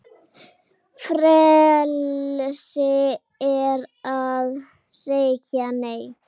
Frelsi er að segja Nei!